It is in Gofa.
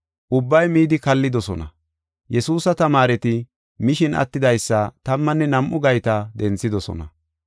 Ubbay midi kallidosona. Yesuusa tamaareti mishin attidaysa tammanne nam7u gayta denthidosona.